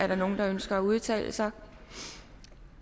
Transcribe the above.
er der nogen der ønsker at udtale sig